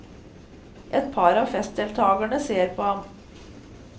Et par av festdeltagerne ser på han.